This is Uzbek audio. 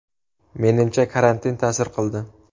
Menimcha, karantin ta’sir qildi.